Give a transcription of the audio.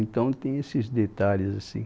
Então tem esses detalhes, assim.